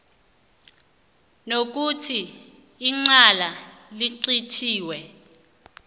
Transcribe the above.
nokuthi icala licithiwe